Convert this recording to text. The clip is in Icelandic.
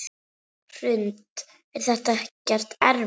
Hrund: Er þetta ekkert erfitt?